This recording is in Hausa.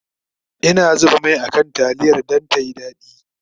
Ina zuba Mai a kan taliyar Dan tayi dadi